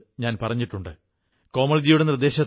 എന്തെല്ലാം വാങ്ങേണ്ടതുണ്ട് എന്നാണ് ചിന്തിക്കുക